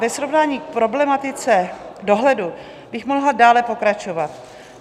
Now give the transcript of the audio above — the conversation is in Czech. Ve srovnání k problematice dohledu bych mohla dále pokračovat.